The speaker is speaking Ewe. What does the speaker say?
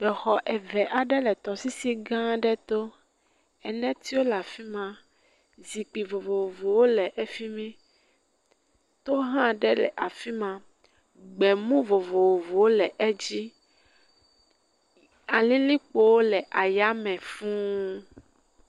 Exɔ eve aɖe le tɔsisi gã aɖe to. Enetsiwo le afi ma. Zikpui vovovowo le efi mi. To hã aɖe le afi ma gbemu vovovowo le edzi. Alilikpowo le ayame fũu.